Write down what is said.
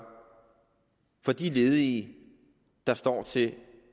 for de ledige der står til